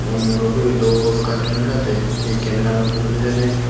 oh muroboyo dol gachuno sadey he cameralloi tullon hijeni.